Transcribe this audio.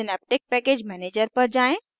synaptic package manager synaptic package manager पर जाएँ